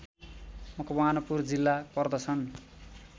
मकवानपुर जिल्ला पर्दछन्